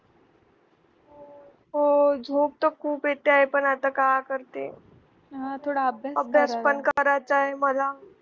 हो झोप तर खूप येतेय पण आता काय करते अभ्यास पण करायचाय मला